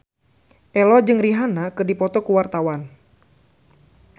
Ello jeung Rihanna keur dipoto ku wartawan